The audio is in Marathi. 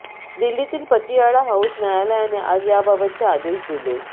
दिल्लीतील पतियाळा हाऊस न्यायालयाने आज याबाबतचे आदेश दिले